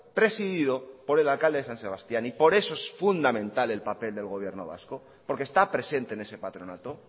presidido por el alcalde de san sebastián y por eso es fundamental el papel del gobierno vasco porque está presente en ese patronato